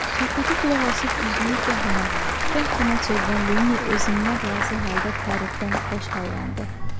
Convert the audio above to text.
Söhbətə qulaqasıb üzünü gah ona, gah buna çevirən Lenni özündən razı halda tərifdən xoş hallandı.